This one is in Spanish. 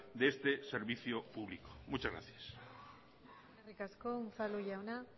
de este servicio público muchas gracias eskerrik asko unzalu jauna